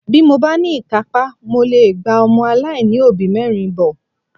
Bí mo bá ní ìkápá, mo lè gba ọmọ aláìní òbí mẹ́rin bọ́